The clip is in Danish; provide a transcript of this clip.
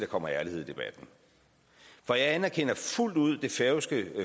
kommer ærlighed i debatten for jeg anerkender fuldt ud det færøske